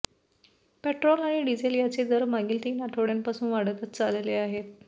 petrol आणि diesel यांचे दर मागील तीन आठवड्यांपासून वाढतच चालले आहेत